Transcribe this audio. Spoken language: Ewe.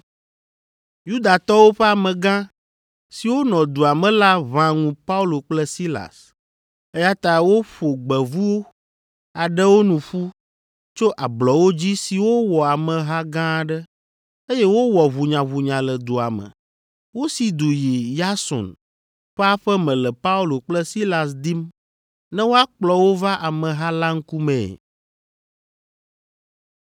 Yudatɔwo ƒe amegã siwo nɔ dua me la ʋã ŋu Paulo kple Silas, eya ta woƒo gbevu aɖewo nu ƒu tso ablɔwo dzi siwo wɔ ameha gã aɖe, eye wowɔ ʋunyaʋunya le dua me. Wosi du yi Yason ƒe aƒe me le Paulo kple Silas dim ne woakplɔ wo va ameha la ŋkumee.